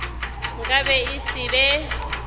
nka be e se be